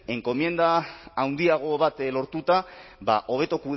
enkomienda handiago bat lortuta hobeto